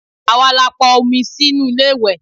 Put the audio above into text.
Àwa la pọn omi sínú ilé ìwẹ̀.